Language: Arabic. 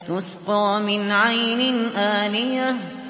تُسْقَىٰ مِنْ عَيْنٍ آنِيَةٍ